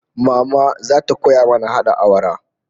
Mama zata koya mana hada awara